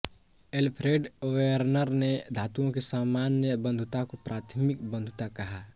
Alfred Werner ने धातुओं की सामान्य बंधुता को प्राथमिक बंधुता कहा